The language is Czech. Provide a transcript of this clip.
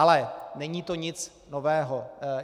Ale není to nic nového.